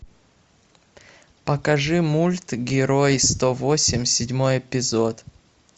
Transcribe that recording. покажи мульт герой сто восемь седьмой эпизод